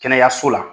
Kɛnɛyaso la